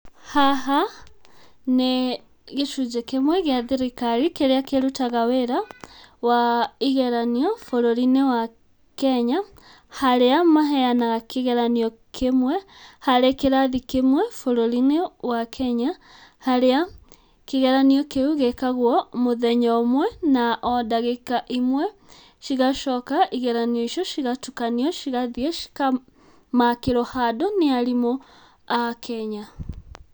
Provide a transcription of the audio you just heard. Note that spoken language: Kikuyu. Haha nĩ gĩcunjĩ kĩmwe kĩa thirikari kĩrĩa kĩrutaga wĩra wa igeranio bũrũri-inĩ wa Kenya. Harĩa maheyanaga kĩgeranio kĩmwe, harĩ kĩrathi kĩmwe bũrũri-inĩ wa Kenya. Harĩa kĩgeranio kĩu gĩkagwo mũthenya ũmwe na o ndagĩka imwe. Cigacoka igeranio icio cigatukanio cigathiĩ ikamakĩrwo handũ nĩ arimũ a Kenya.